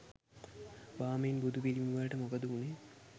බාමින් බුදු පිළිමවලට මොකද උනේ